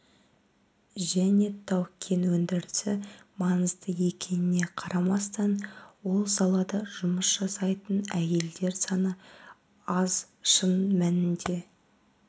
және тау-кен өндірісі маңызды екеніне қарамастан ол салада жұмыс жасайтын әйелдер саны аз шын мәнінде